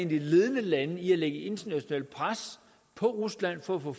de ledende lande til at lægge et internationalt pres på rusland for at få